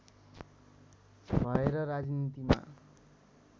भएर राजनीतिमा